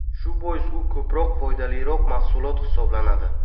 Shu bois u ko‘proq foydaliroq mahsulot hisoblanadi.